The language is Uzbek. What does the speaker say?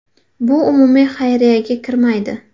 Bu umumiy xayriyaga kirmaydi.